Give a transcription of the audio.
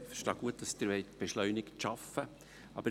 Ich verstehe gut, dass Sie beschleunigt arbeiten wollen.